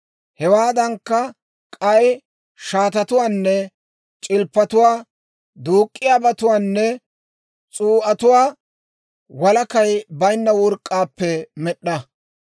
Hewaadankka, k'ay shaatatuwaanne c'ilppatuwaa, duuk'k'iyaabatuwaanne s'uu'atuwaa walakay baynna work'k'aappe med'd'a.